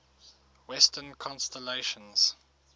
western constellations